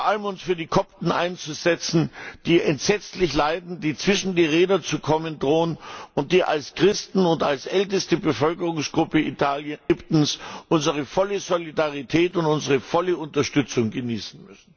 Und vor allem müssen wir uns für die Kopten einsetzen, die entsetzlich leiden, die zwischen die Räder zu geraten drohen und die als Christen und als älteste Bevölkerungsgruppe Ägyptens unsere volle Solidarität und unsere volle Unterstützung genießen müssen.